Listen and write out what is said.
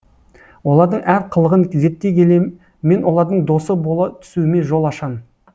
олардың әр қылығын зерттей келе мен олардың досы бола түсуіме жол ашам